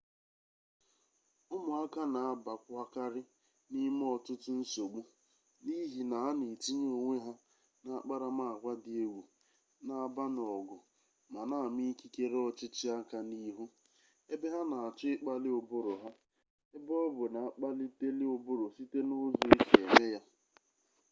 umuaka na abawakari nime otutu nsogbu nihi na ha na etinye onwe ha na akparamagwa di-egwu na aba n'ogu ma na-ama ikikere ochichi aka n'ihu ebe ha na acho ikpali uburu ha ebe-obu na akpaliteli uburu site na uzo esi eme ya